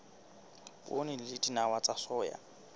poone le dinawa tsa soya